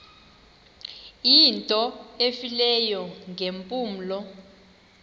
into efileyo ngeempumlo